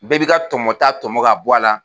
Bɛɛ bi ka tɔmɔ ta tɔmɔ ka bɔ a la.